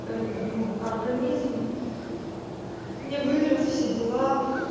это ну организм не вырос все дела